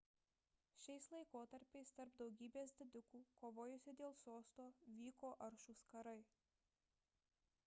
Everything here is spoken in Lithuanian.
šiais laikotarpiais tarp daugybės didikų kovojusių dėl sosto vyko aršūs karai